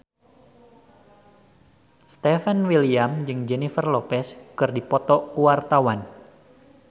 Stefan William jeung Jennifer Lopez keur dipoto ku wartawan